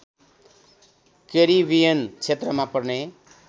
Caribbean क्षेत्रमा पर्ने